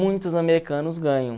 Muitos americanos ganham.